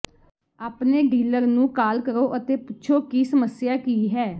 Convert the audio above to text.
ਆਪਣੇ ਡੀਲਰ ਨੂੰ ਕਾਲ ਕਰੋ ਅਤੇ ਪੁੱਛੋ ਕਿ ਸਮੱਸਿਆ ਕੀ ਹੈ